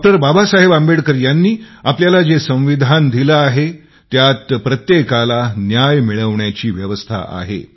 डॉ बाबासाहेब आंबेडकर यांनी आपल्याला जे संविधान दिले आहे त्यात प्रत्येकाला न्याय मिळवण्याची व्यवस्था आहे